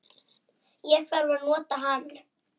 Ég þarf að nota hann